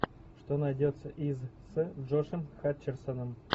что найдется из с джошем хатчерсоном